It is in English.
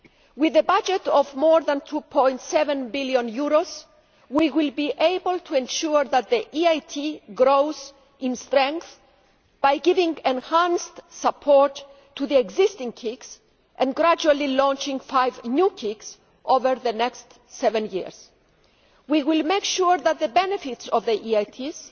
With a budget of more than EUR 2.7 billion, we will be able to ensure that the EIT grows in strength by giving enhanced support to existing KICs and gradually launching five new KICs over the next seven years. We will make sure that the benefits of the